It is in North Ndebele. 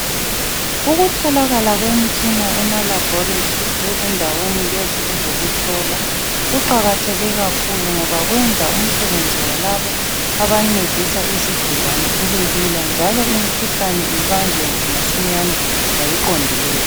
Ukutholakala kwemitshina emalaboratory lezindaweni lezi ezokuhlola. kuqakatheke kakhulu ngoba kwenza umsebenzi walabo abancedisa izigulane ubelula njalo imkhuhlane ibanjwe masinyane ngokuqondileyo.